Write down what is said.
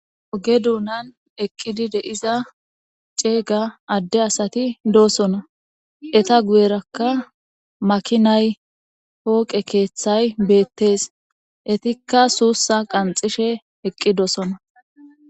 oge duunan eqqidi de7iza ceega adde asati doosona; eta guyerakka makinay pooqe keeththay beettees; etikka suussa qanxxishe eqqi doosona.